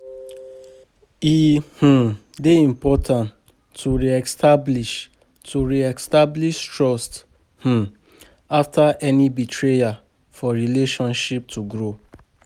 E um dey important to re-establish to re-establish trust um after any betrayal for relationships to grow.